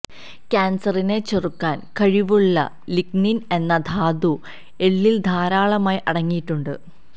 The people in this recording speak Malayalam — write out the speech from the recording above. ക്യാൻസറിനെ ചെറുക്കാൻ കഴിവുള്ള ലിഗ്നിൻ എന്ന ധാതു എള്ളിൽ ധാരാളമായി അടങ്ങിയിട്ടുണ്ട്